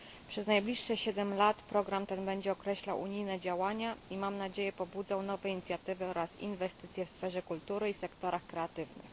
Przez najbliższe siedem lat program ten będzie określał unijne działania i mam nadzieję pobudzał nowe inicjatywy oraz inwestycje w sferze kultury i w sektorach kreatywnych.